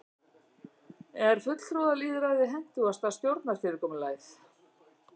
er fulltrúalýðræði hentugasta stjórnarfyrirkomulagið